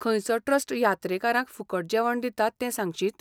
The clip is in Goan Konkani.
खंयचो ट्रस्ट यात्रेकरांक फुकट जेवण दिता तें सांगशीत?